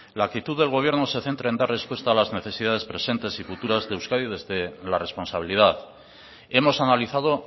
la actitud del gobierno se centra en dar respuesta a las necesidades presentes y futuras de euskadi desde la responsabilidad hemos analizado